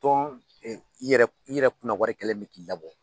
Tɔn i yɛrɛ kunna wari kɛlen bɛ k'i labɔ